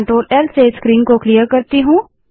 उससे पहले मैं CTRLL से स्क्रीन को क्लिअर करती हूँ